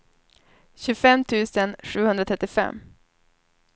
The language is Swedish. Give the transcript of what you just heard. tjugofem tusen sjuhundratrettiofem